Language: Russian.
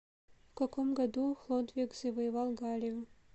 в каком году хлодвиг завоевал галлию